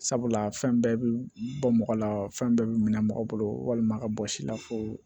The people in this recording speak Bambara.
Sabula fɛn bɛɛ bɛ bɔ mɔgɔ la fɛn bɛɛ bɛ minɛ mɔgɔ bolo walima ka bɔ si la fo